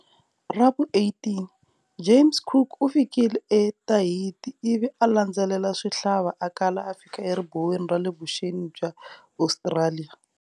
Ravu 18, James Cook ufikile e Tahiti, ivi alandzelela swihlala akala a fika eribuweni rale vuxeni bya Ostraliya.